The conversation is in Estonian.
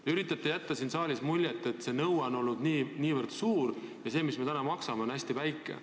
Te üritate jätta siin saalis muljet, et kõnealune nõue on olnud väga suur ja summa, mis me nüüd maksame, on hästi väike.